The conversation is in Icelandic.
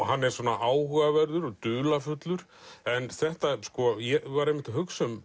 hann er áhugaverður og dularfullur en ég var einmitt að hugsa um